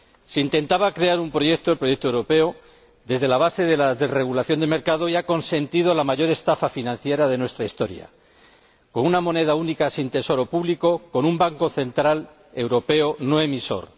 Se intentaba crear un proyecto —el proyecto europeo— desde la base de la desregulación del mercado y se ha consentido la mayor estafa financiera de nuestra historia, con una moneda única sin tesoro público, con un Banco Central Europeo no emisor.